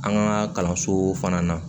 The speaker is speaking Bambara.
An ka kalanso fana na